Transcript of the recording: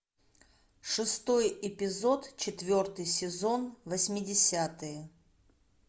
шестой эпизод четвертый сезон восьмидесятые